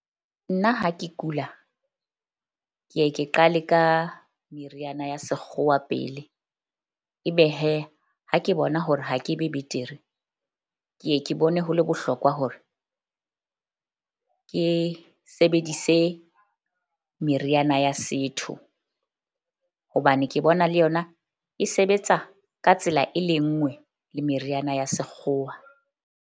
Nna ha ke kula, ke ye ke qale ka meriana ya sekgowa pele ebe ha ke bona hore ha ke be betere ke ye ke bone ho le bohlokwa hore ke sebedise meriana ya setho. Hobane ke bona le yona e sebetsa ka tsela e le nngwe le meriana ya sekgowa.